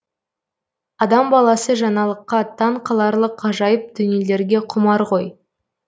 адам баласы жаңалыққа таң қаларлық ғажайып дүниелерге құмар ғой